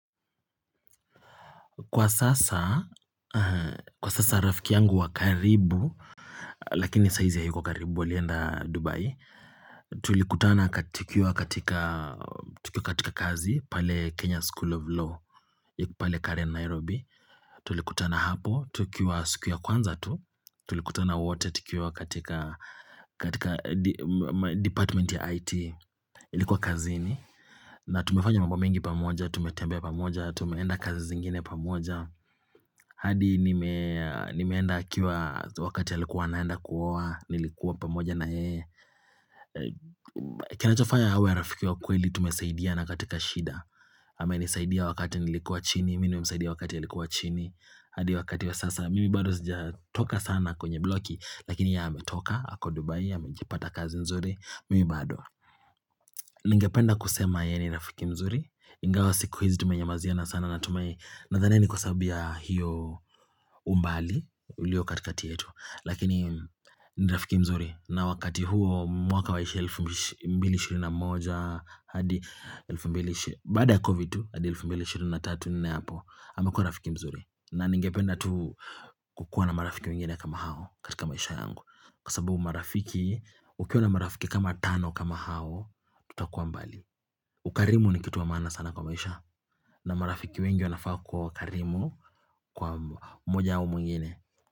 Kwa sasa, kwa sasa rafiki yangu wa karibu, lakini saa izi hayuko karibu alienda Dubai. Tulikutana tukiwa katika, tukiwa katika kazi pale Kenya School of Law, iko pale Karen Nairobi. Tulikutana hapo, tukiwa siku ya kwanza tu. Tulikutana wote tukiwa katika, katika department ya IT. Ilikuwa kazini. Na tumefanya mambo mengi pamoja, tumetembea pamoja, tumeenda kazi zingine pamoja. Adi nimeenda akiwa wakati alikuwa anaenda kuoa, nilikuwa pamoja na yeye. Kinachofaya awe wa rafiki wa kweli tumesaidina katika shida. Amenisaidia wakati nilikuwa chini, mimi nimemsaidia wakati alikuwa chini. Adi wakati wa sasa, mimi bado sijatoka sana kwenye bloki. Lakini yeye ametoka, ako Dubai, amejipata kazi mzuri, mimi bado. Ningependa kusema yeye ni rafiki mzuri. Ingawa siku hizi tumenyamaziana sana natumai. Nadhani ni kwa sababu ya hiyo umbali. Ulio katikati yetu lakini ni rafiki mzuri na wakati huo mwaka wa ishirini mbili shirina moja hadi mbili shirini moja hadi mbili shirini baada ya covid tu hadi elfu mbili ishirini na tatu nne hapo amekuwa rafiki mzuri na ningependa tu kukuwa na marafiki wengine kama hao katika maisha yangu kwa sababu marafiki Ukiwa na marafiki kama tano kama hao Ututakuwa mbali ukarimu ni kitu wa maana sana kwa maisha na marafiki wengi wanafaa kwa wakarimu kwa mmoja hao mwingine.